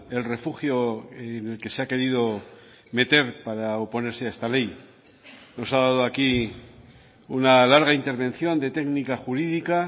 el refugio en el que se ha querido meter para oponerse a esta ley nos ha dado aquí una larga intervención de técnica jurídica